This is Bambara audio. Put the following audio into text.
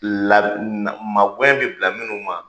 La na ma wɛrɛ bɛ bila minnu ma